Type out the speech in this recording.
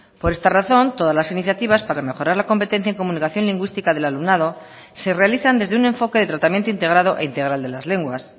por esta razón todas las iniciativas para mejorar la competencia en comunicación lingüística del alumnado se realizan desde un enfoque de tratamiento integrado e integral de las lenguas